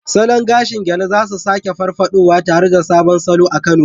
Salon gashin Gele za su sake farfaɗowa, tare da sabon salo a Kano.